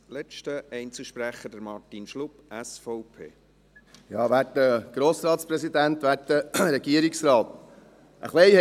Ein bisschen haben wir alle recht hier in diesem Saal.